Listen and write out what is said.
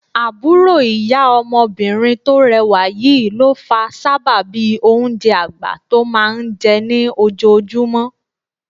Àbúrò ìyá ọmọbìnrin tó rẹwà yìí ló fa sábàbí oúnjẹ àgbà tó máa ń jẹ ní ojoojúmọ́